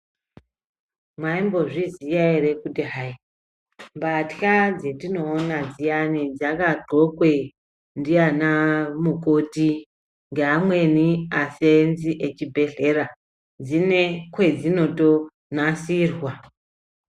Mwaimbozviziya ere kuti hai mbatywa dzetinoona dziyani dzakagxokwe ndianamukoti ngeamweni aseenzi echibhedhlera dzine kwedzino tonasirwa?.